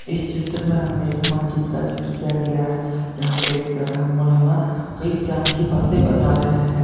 इस चित्र में हमें एक मस्जिद का जिक्र किया गया है यहां पे एक प्रधान मौलाना कई ज्ञान की बातें बता रहे हैं।